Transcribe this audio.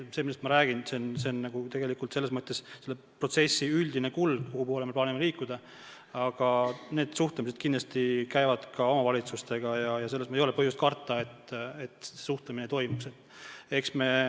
See, millest ma räägin, on selle protsessi üldine kulg, kuhu poole me plaanime liikuda, aga suhtlemine toimub kindlasti ka omavalitsustega, ei ole põhjust karta, et suhtlemist ei toimu.